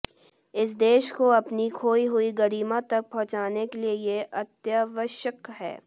इस देश को अपनी खोई हुई गरिमा तक पहुंचाने के लिये ये अत्यावश्यक है